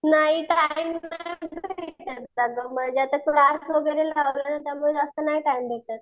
नाही टाइम म्हणजे आता क्लास वगैरे लावलाय ना त्यामुळे असं नाही टाइम भेटत.